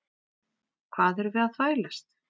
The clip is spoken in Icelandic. Hvað erum við að þvælast?